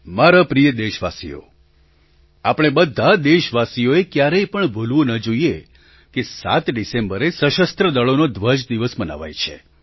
મારા પ્રિય દેશવાસીઓ આપણે બધા દેશવાસીઓએ એ ક્યારેય પણ ભૂલવું ન જોઈએ કે ૭ ડિસેમ્બરે સશસ્ત્ર દળોનો ધ્વજ દિવસ મનાવાય છે